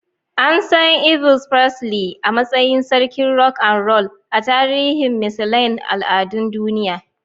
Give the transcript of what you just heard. An san Elvis Presley a matsayin "Sarkin Rock and Roll" ta tarihin misalain al'adun duniya.